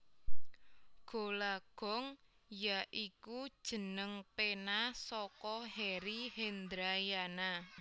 Gola Gong ya iku jeneng pena saka Heri Hendrayana